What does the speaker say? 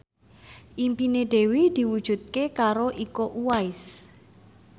impine Dewi diwujudke karo Iko Uwais